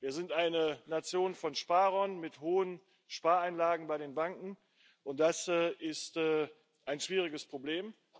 Wir sind eine Nation von Sparern mit hohen Spareinlagen bei den Banken, und das ist ein schwieriges Problem.